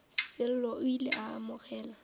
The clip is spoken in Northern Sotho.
sello o ile a amogela